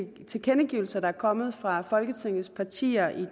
tilkendegivelser der er kommet fra folketingets partier i